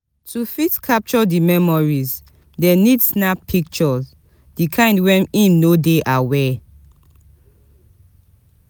To fit capture di memories dem need snap picture di kin when im no de aware